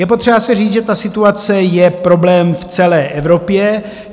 Je potřeba si říct, že ta situace je problém v celé Evropě.